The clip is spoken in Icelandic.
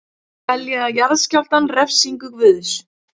Telja jarðskjálftann refsingu guðs